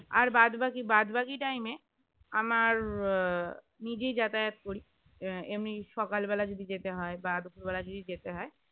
আর বাদবাকি বাদ বাকি time আমার নিজেই যাতায়াত করি এমনি সকাল বেলায় যদি যেতে হয় বা দুপুর বেলায় যদি যেতে হয়